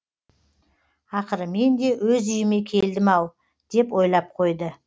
ақыры мен де өз үйіме келдім ау деп ойлап қойды